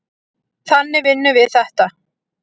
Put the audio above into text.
Þannig vinnum við þetta.